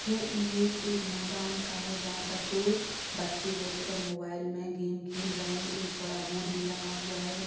ये इमेज एक मैदान का है। जहाँ पर दो बच्चे बैठ कर मोबाईल में गेम खेल रहें एक बड़ा बोर्ड भी लगा हुआ है।